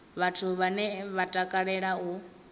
vhathu vhane vha takalea u